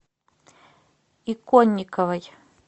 иконниковой